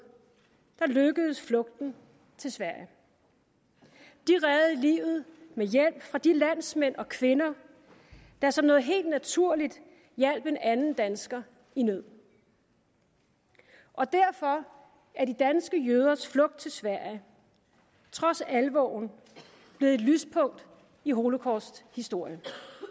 lykkedes flugten til sverige de reddede livet med hjælp fra de landsmænd og kvinder der som noget helt naturligt hjalp en anden dansker i nød og derfor er de danske jøders flugt til sverige trods alvoren blevet et lyspunkt i holocausts historie